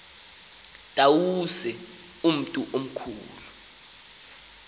tawuse umntu omkhulu